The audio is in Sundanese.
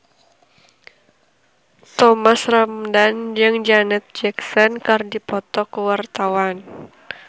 Thomas Ramdhan jeung Janet Jackson keur dipoto ku wartawan